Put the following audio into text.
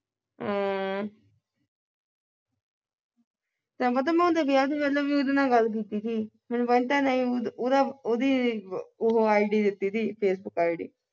ਤੈ ਪਤਾ ਮੈਂ ਉਹਦੇ ਵਿਆਹ ਤੋਂ ਪਹਿਲਾਂ ਵੀ ਉਹਦੇ ਨਾਲ ਗੱਲ ਕੀਤੀ ਸੀ ਮੈਨੂੰ ਪੁੱਛਦਾ ਨਹੀਂ ਉਹਦਾ ਉਹਦੀ ਉਹ ID ਦਿੱਤੀ ਸੀ facebook ID